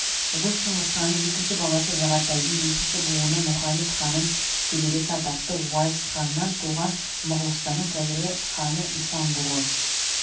ұлы шыңғысханның екінші баласы жағатайдың бесінші буыны мұхамед ханның шөбересі атақты уайс ханнан туған моғолстанның қазіргі ханы исан-бұғы